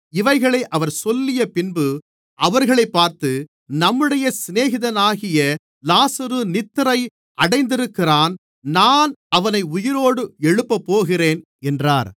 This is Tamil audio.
இவைகளை அவர் சொல்லியபின்பு அவர்களைப் பார்த்து நம்முடைய சிநேகிதனாகிய லாசரு நித்திரை அடைந்திருக்கிறான் நான் அவனை உயிரோடு எழுப்பப்போகிறேன் என்றார்